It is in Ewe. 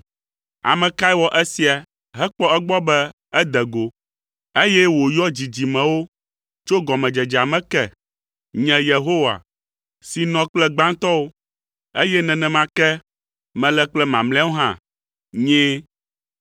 Ame kae wɔ esia hekpɔ egbɔ be ede go, eye wòyɔ dzidzimewo tso gɔmedzedzea me ke? Nye, Yehowa, si nɔ kple gbãtɔwo, eye nenema ke mele kple mamlɛawo hã, Nyee.”